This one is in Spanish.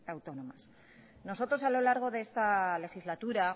autónomas nosotros a lo largo de esta legislatura